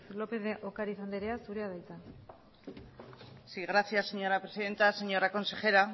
lópez de ocariz andrea zurea da hitza sí gracias señora presidenta señora consejera